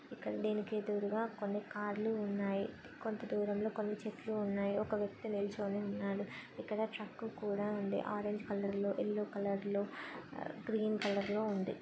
దీనికి దూరంగా కొన్ని కార్ లు ఉన్నాయి కొంత దూరంలో కొన్ని చెట్లు ఉన్నాయి ఇక్కడ ఒక వ్యక్తి నిల్చోని ఉన్నాడు ఇక్కడ ట్రక్కు కూడా ఉంది ఆరెంజ్ కలర్ లో కలర్ లో గ్రీన్ కలర్ లో ఉంది.